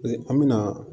An me na